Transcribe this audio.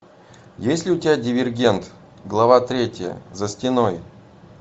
есть ли у тебя дивергент глава третья за стеной